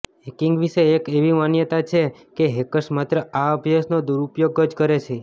hacking વિશે એક એવી માન્યતા છે કે હેકર્સ માત્ર આ અભ્યાસનો દુરુપયોગ જ કરે છે